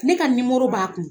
Ne ka b'a kun.